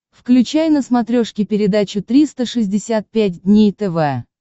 включай на смотрешке передачу триста шестьдесят пять дней тв